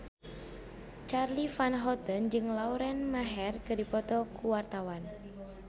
Charly Van Houten jeung Lauren Maher keur dipoto ku wartawan